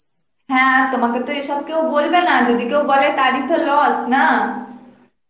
হ্যাঁ তোমাকে তো এসব কেউ বলবেনা যদি বলে তারই তো lose না